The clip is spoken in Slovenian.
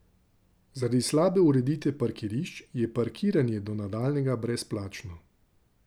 Zaradi slabe ureditve parkirišč, je parkiranje do nadaljnjega brezplačno.